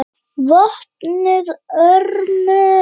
VOPNUÐ ÖRMUM